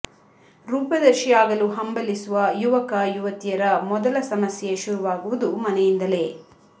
ರೂಪದರ್ಶಿ ಆಗಲು ಹಂಬಲಿಸುವ ಯುವಕ ಯುವತಿಯರ ಮೊದಲ ಸಮಸ್ಯೆ ಶುರುವಾಗುವುದು ಮನೆಯಿಂದಲೇ